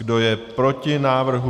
Kdo je proti návrhu?